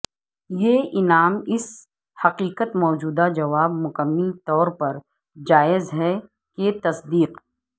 یہ انعام اس حقیقت موجودہ جواب مکمل طور پر جائز ہے کہ تصدیق